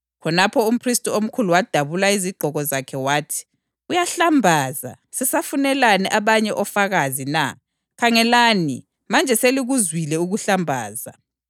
Khonapho umphristi omkhulu wadabula izigqoko zakhe wathi, “Uyahlambaza! Sisafunelani abanye ofakazi na? Khangelani, manje selikuzwile ukuhlambaza.